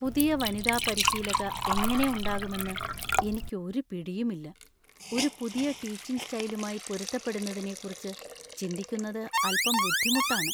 പുതിയ വനിതാ പരിശീലക എങനെ ഉണ്ടാകുമെന്നു എനിക്ക് ഒരു പിടിയുമില്ല . ഒരു പുതിയ ടീച്ചിങ് സ്‌റ്റൈലുമായി പൊരുത്തപ്പെടുന്നതിനെക്കുറിച്ച് ചിന്തിക്കുന്നത് അൽപ്പം ബുദ്ധിമുട്ടാണ് .